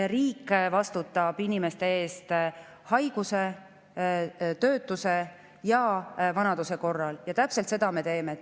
Riik vastutab inimese eest haiguse, töötuse ja vanaduse korral ja täpselt seda me teeme.